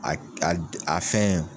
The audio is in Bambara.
A a a a fɛn